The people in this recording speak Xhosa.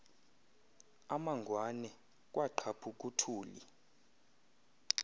amangwane kwaqhaphuk uthuli